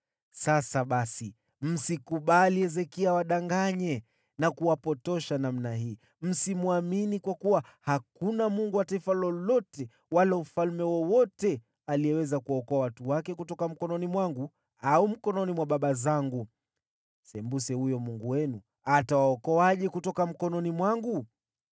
Sasa basi, msikubali Hezekia awadanganye na kuwapotosha namna hii. Msimwamini, kwa kuwa hakuna mungu wa taifa lolote wala wa ufalme wowote aliyeweza kuwaokoa watu wake kutoka mkononi mwangu au mkononi mwa baba zangu. Sembuse huyo mungu wenu atawaokoaje kutoka mkononi mwangu!”